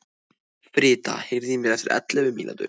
Frida, heyrðu í mér eftir ellefu mínútur.